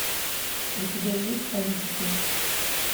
у тебя есть политики